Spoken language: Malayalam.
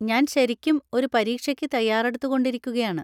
ഞാൻ ശരിക്കും ഒരു പരീക്ഷയ്ക്ക് തയ്യാറെടുത്തു കൊണ്ടിരിക്കുകയാണ്